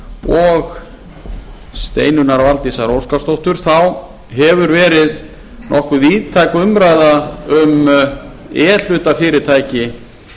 og steinunnar valdísar óskarsdóttur þá hefur verið nokkuð víðtæk umræða um e hluta fyrirtæki